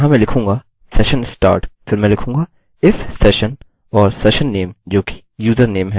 अतः यहाँ मैं लिखूँगा session start फिर मैं लिखूँगा if session और सेशन नेम जो कि username है